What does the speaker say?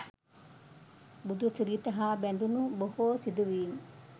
බුදු සිරිත හා බැඳුණු බොහෝ සිදුවීම්